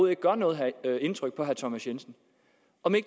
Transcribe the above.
ikke gør noget indtryk på herre thomas jensen